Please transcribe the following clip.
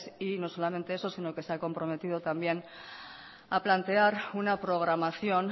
y no solamente eso sino que se ha comprometido también a plantear una programación